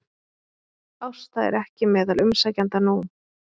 Ásta er ekki meðal umsækjenda nú